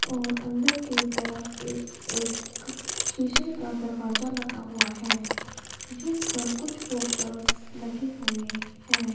और अंदर की तरफ एक एक शीशे का दरवाजा लगा हुआ है जिस पर कुछ पोस्टर्स लगे हुए हैं।